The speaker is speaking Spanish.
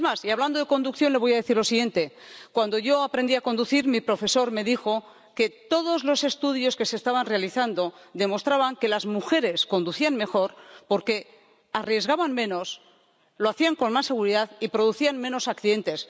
Es más, hablando de conducción, le voy a decir lo siguiente cuando yo aprendí a conducir, mi profesor me dijo que todos los estudios que se estaban realizando demostraban que las mujeres conducían mejor porque arriesgaban menos, lo hacían con más seguridad y provocaban menos accidentes.